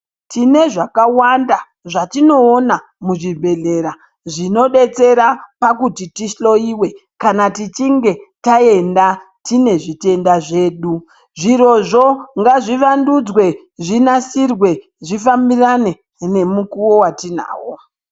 Tine zvakawanda zvatinoona muzvibhedhlera zvinobetsera pakut8 tihloyiwe kana tichinge taenda tine zvitenda zvedu zvirozvoo ngazvivandudzwe zvinasirwe zvifambirane nemukuwo watinawo.